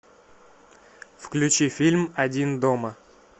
включи фильм один дома